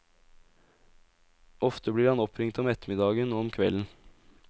Ofte blir han oppringt om ettermiddagen og om kvelden.